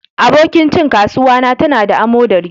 Abokin cin kasuwa na ta na da amodari.